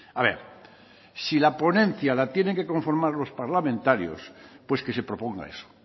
a ver si la ponencia la tienen que conformar los parlamentarios pues que se proponga eso